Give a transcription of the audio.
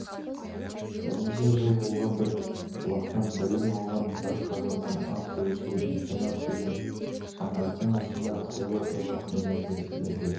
бірнеше жыл болған бір бұлақтан білім алған бір қазаннан ас бөліскен интернат деген шаңырақтың астында қилы-қилы күндерді бірге